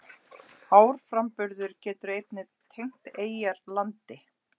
Árframburður getur einnig tengt eyjar landi.